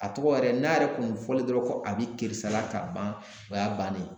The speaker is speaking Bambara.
A tɔgɔ yɛrɛ n'a yɛrɛ kun fɔlen dɔrɔn ko a bi keresala ka ban o y'a bannen ye